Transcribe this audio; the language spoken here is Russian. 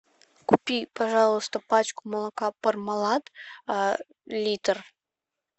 купи пожалуйста пачку молока пармалат литр